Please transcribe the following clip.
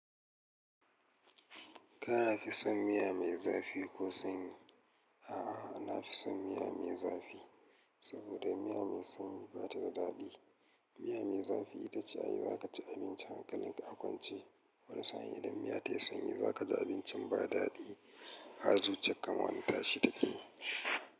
Kana fi son miya mai zafi ko sanyi? A'a, na fi son miya mai zafi saboda miya mai sanyi ba ta da daɗi. Miya mai zafi ita ce ai za ka ci abinci hankalin ka a kwance. Wani sa'in idan miya ta yi sanyi za ka ji abincin ba daɗi. Har zuciyar ka ma wani tashi ta ke.